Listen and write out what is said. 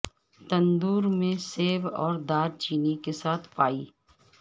تندور میں سیب اور دار چینی کے ساتھ پائی